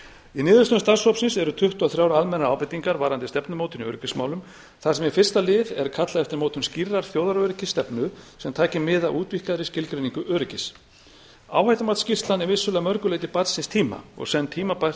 í niðurstöðum starfshópsins eru tuttugu og þrjár almennar ábendingar varðandi stefnumótun í öryggismálum þar sem í fyrsta lið er kallað eftir mótun skýrrar þjóðaröryggisstefnu sem taki mið af útvíkkaðri skilgreiningu öryggis áhættumatsskýrslan er vissulega að mörgu leyti barn síns tíma og senn tímabært að